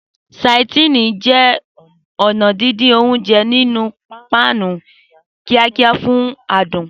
Sautéing jẹ́ ọ̀nà dídín oúnjẹ nínú páànù kíákíá fún adùn.